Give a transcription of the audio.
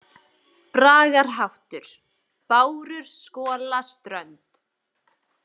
Bragarháttur: „Bárur skola strönd“.